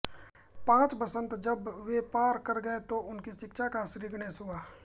पांच बसंत जब वे पार कर गये तो उनकी शिक्षा का श्रीगणेश हुआ